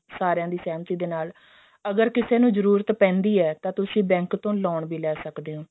ਸਾਰਿਆ ਦੀ ਸਿਹਮਤੀ ਦੇ ਨਾਲ ਅਗਰ ਕਿਸੇ ਨੂੰ ਜਰੂਰਤ ਪੈਂਦੀ ਹੈ ਤਾਂ ਤੁਸੀਂ bank ਤੋਂ loan ਵੀ ਲੈ ਸਕਦੇ ਓ